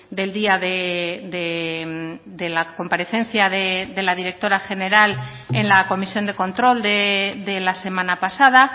del día de la comparecencia de la directora general en la comisión de control de la semana pasada